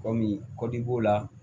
Kɔmi kɔdib'o la